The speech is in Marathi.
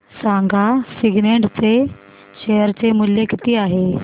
सांगा सिग्नेट चे शेअर चे मूल्य किती आहे